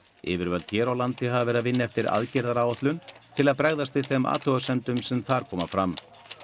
yfirvöld hér á landi hafa verið að vinna eftir aðgerðaáætlun til að bregðast við þeim athugasemdum sem þar komu fram